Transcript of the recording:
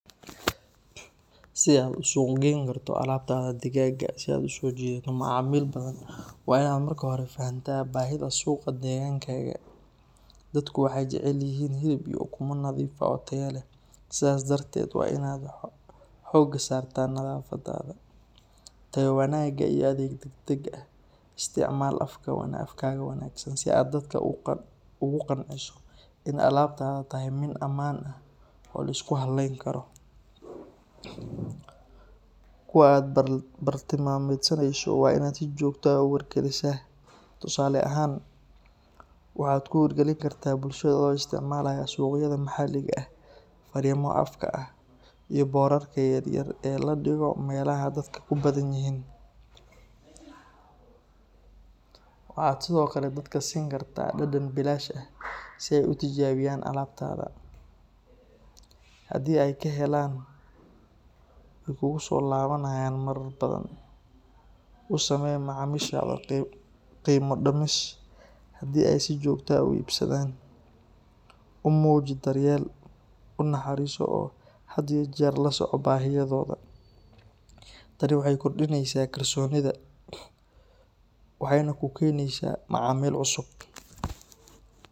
Si aad suuq u geyn karto alaabta digaaga si aad u soo jiidato macaamiil badan, waa inaad marka hore fahantaa baahida suuqa deegaankaaga. Dadku waxay jecel yihiin hilib iyo ukumo nadiif ah oo tayo leh. Sidaas darteed, waa inaad xoogga saartaa nadaafadda, tayo wanaagga, iyo adeeg degdeg ah. Isticmaal afkaaga wanaagsan si aad dadka ugu qanciso in alaabtaadu tahay mid ammaan ah oo la isku halayn karo. Kuwa aad bartilmaameedsanayso waa in aad si joogto ah u wargelisaa, tusaale ahaan, waxaad ku wargelin kartaa bulshada adoo isticmaalaya suuqyada maxalliga ah, fariimo afka ah, iyo boorarka yar yar ee la dhigo meelaha dadka ku badan yihiin. Waxaad sidoo kale dadka siin kartaa dhadhan bilaash ah si ay u tijaabiyaan alaabtaada. Haddii ay ka helaan, way kuugu soo laabanayaan marar badan. U samee macaamiishaada qiimo dhimis haddii ay si joogto ah u iibsadaan. U muuji daryeel, u naxariiso oo had iyo jeer la soco baahiyahooda. Tani waxay kordhinaysaa kalsoonida, waxayna ku keenaysaa macaamiil cusub.